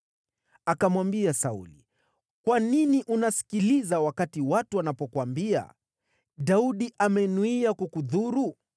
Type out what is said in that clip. Akamwambia Sauli, “Kwa nini unasikiliza wakati watu wanapokuambia, ‘Daudi amenuia kukudhuru’?